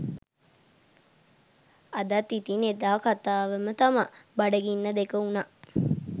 අදත් ඉතින් එදා කතාවම තමා.බඩගින්න දෙක වුනා